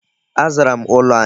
Azara m ụlọ anyi.